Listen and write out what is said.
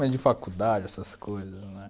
Mais de faculdade, essas coisas, né?